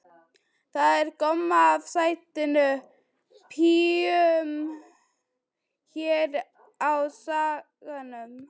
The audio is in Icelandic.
Það er gomma af sætum píum hér á Skaganum.